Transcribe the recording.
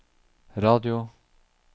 radio